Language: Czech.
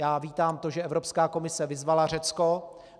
Já vítám to, že Evropská komise vyzvala Řecko.